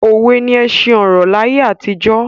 Òwe ni ẹṣin ọ̀rọ̀ laye àtijọ́